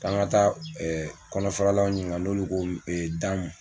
K'an ka taa kɔnɔfaralaw ɲininka n'olu ko da mun.